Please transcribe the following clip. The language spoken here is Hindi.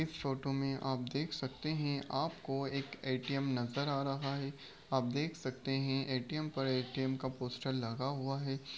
इस फोटो में आप देख सकते हैं। आपको एक ए.टी.एम. नजर आ रहा है। आप देख सकते हैं ए.टी.एम. पर ए.टी.एम. का पोस्टर लगा हुआ है।